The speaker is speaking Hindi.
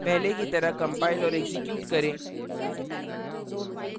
पहले की तरह कंपाइल और एक्जीक्यूट करें